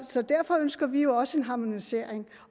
så derfor ønsker vi jo også en harmonisering